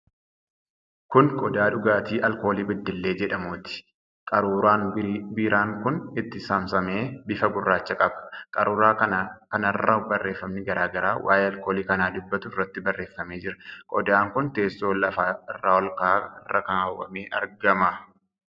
Kun qodaa dhugaatii Alkoolii Beddellee jedhamuuti. Qaruuraan biiraan kun itti saamsame bifa gurraacha qaba. Qaruura kanarra barreefamni garaa garaa waa'ee alkoolii kanaa dubbatu irratti barreeffamee jira. Qodaan kun teessoo lafa irraa olka'aa irra kaawwamee argama.